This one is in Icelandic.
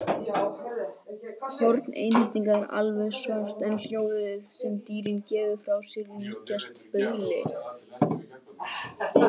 Horn einhyrninga er alveg svart en hljóðin sem dýrið gefur frá sér líkjast bauli.